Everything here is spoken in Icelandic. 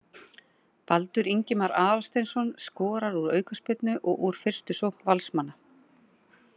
Baldur Ingimar Aðalsteinsson skorar úr aukaspyrnu og úr fyrstu sókn Valsmanna.